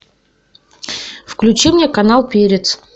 включи мне канал перец